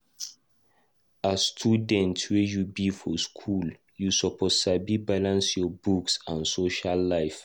As student wey you be for school, you suppose sabi balance your books and social life.